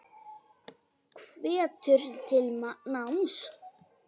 Hvetur til náms.